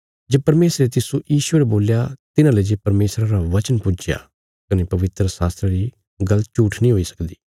जे परमेशरे तिस्सो ईश्वर बोल्या तिन्हाले जे परमेशरा रा बचन पुज्जया कने पवित्रशास्त्रा री गल्ल झूट्ठ नीं हुई सकदी